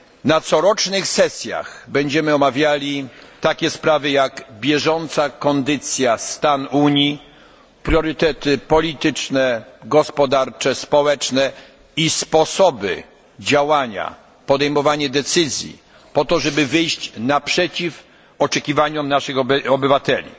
Na corocznych sesjach będziemy omawiali takie sprawy, jak bieżąca kondycja, stan Unii, priorytety polityczne, gospodarcze, społeczne i sposoby działania, podejmowanie decyzji, aby wyjść naprzeciw oczekiwaniom obywateli.